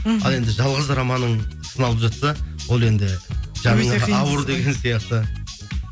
мхм ал енді жалғыз романың сыналып жатса ол енді деген сияқты